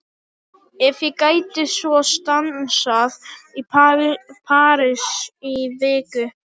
Ef ég gæti svo stansað í París í viku?